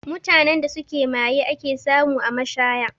Mutanen da suke maye ake samu a mashaya